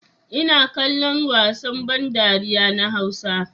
Ina kallon wasan ban dariya na hausa.